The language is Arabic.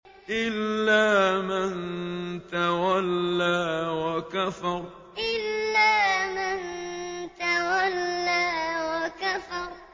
إِلَّا مَن تَوَلَّىٰ وَكَفَرَ إِلَّا مَن تَوَلَّىٰ وَكَفَرَ